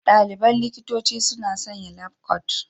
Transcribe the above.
Ɗaliban likitanci suna sanya labkot.